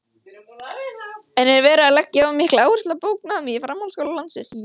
En er verið að leggja of mikla áherslu á bóknámið í framhaldsskólum landsins?